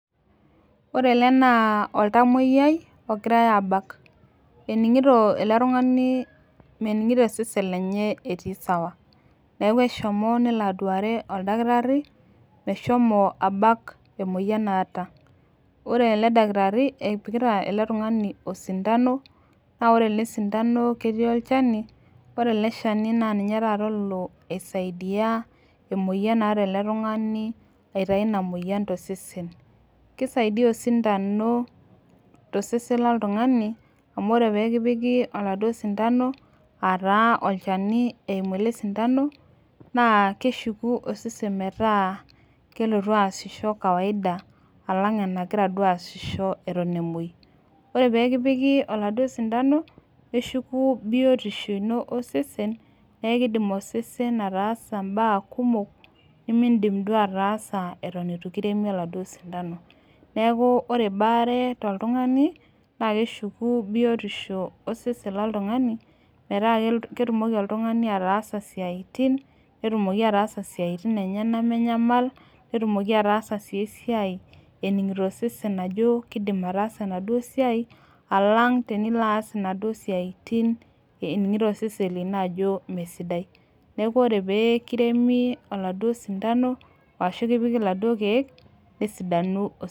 Ore ele naa oltamoyiai ogirae aabak. meningito ele tungani esidai, nelo aduare oldakitari, meshomo abak ena moyian naata. ore ele dakitari kepikita osindano. naa ore ele sindano ketii olchani, naa ore ele sindano ninye taata olo. aisaidia emoyian naata ele tungani aitayu Ina moyian tosesen. kisaidaia osintano, tosesen loltungani. amu ore pee kipiki oladuoo sindano aa taa olchani eimu ele sindano naa keishu osesen peelotu aasishore kawaida ,alange anagira duoo aasisho Eton emuoi. ore pee kipiki oladuoo sindano neshuku biotisho enye osesen, neeku kidim osesen ataasa mbaya kumok, nemeidim duo ataasa Eton eitu kiremi oladuoo sindano. neeku ore ebaare toltungani naa keshuku biotisho osesen loltungani. metaa ketumoki oltungani ataasa siatin. netumoki ataasa siatin enyenak menyamal. netumoki ataasa sii esiai eningito osesen ajo kidim ataasa enaduoo siai. alang tenilo aas inaduoo sia .imuoo